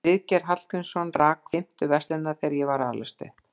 Friðgeir Hallgrímsson rak fimmtu verslunina þegar ég var að alast upp.